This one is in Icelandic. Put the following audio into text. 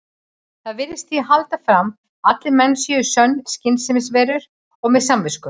Þar virðist því haldið fram að allir menn séu að sönnu skynsemisverur og með samvisku.